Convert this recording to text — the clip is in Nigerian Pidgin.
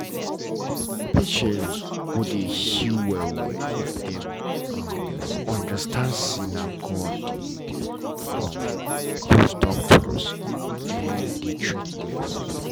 patients go dey heal well well if dem um understand say na god dey um use doctors dey treat them